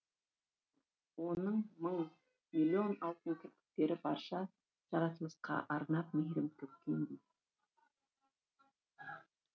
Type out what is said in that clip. оның мың миллион алтын кірпіктері барша жаратылысқа арнап мейірім төккендей